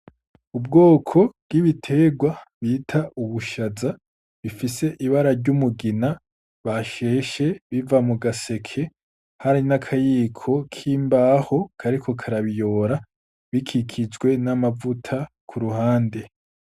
Ubwoko bwibiterwa bita ubushaza bifise ibara ry'umugina basheshe biva mu gaseke hari n'akayiko kimbaho kariko karabiyora bikikijwe n'amavuta ku ruhande